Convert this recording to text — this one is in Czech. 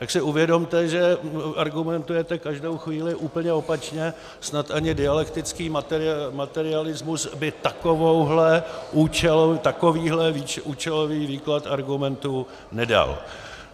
Tak si uvědomte, že argumentujete každou chvíli úplně opačně, snad ani dialektický materialismus by takovýhle účelový výklad argumentů nedal.